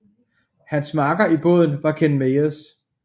Hans makker i båden var Ken Myers